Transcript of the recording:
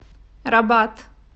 рабат